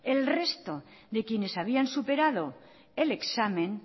el resto de quienes habían superado el examen